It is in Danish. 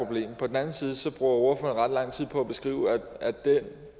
på den anden side bruger ordføreren ret lang tid på at beskrive at det